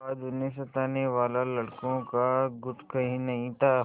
आज उन्हें सताने वाला लड़कों का गुट कहीं नहीं था